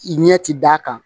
Ɲɛ ti d'a kan